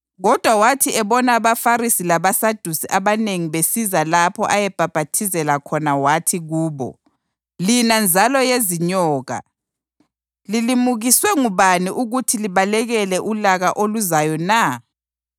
Kodwa wathi ebona abaFarisi labaSadusi abanengi besiza lapho ayebhaphathizela khona wathi kubo, “Lina nzalo yezinyoka! Lilimukiswe ngubani ukuthi libalekele ulaka oluzayo na?